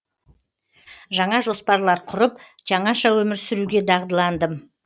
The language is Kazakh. жаңа жоспарлар құрып жаңаша өмір сүруге дағдыландым